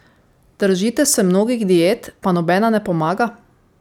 Držite se mnogih diet, pa nobena ne pomaga?